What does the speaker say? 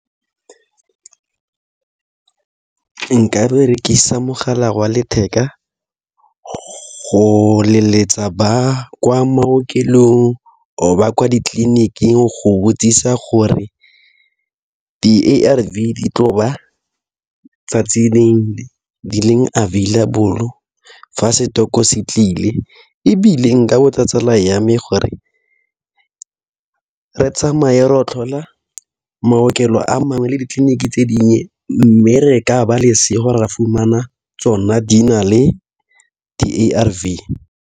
Nka berekisa mogala wa letheka go leletsa ba kwa maokelong ba kwa ditleliniking go botsisa gore di-A_R_V di tloba 'tsatsi leng available fa stock-o se tlile ebile nka botsa tsala ya me gore re tsamaye ro tlhola maokelo a mangwe le ditleliniki tse dinngwe mme re ka ba lesego ra fumana tsona di na le di A_R_V.